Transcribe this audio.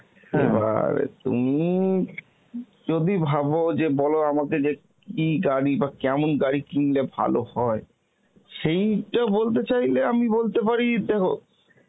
তুমি যদি ভাবো যে বল আমাকে যে কি গাড়ি বা কেমন গাড়ি কিনলে ভালো হয়, সেইটা বলতে চাইলে আমি বলতে পারি দেখো